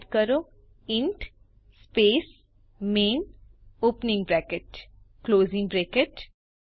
type કરો int space main opening bracket closing bracket